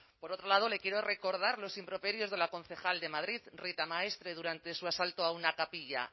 por otro lado le quiero recordar los improperios de la concejal de madrid rita maestre durante su asalto a una capilla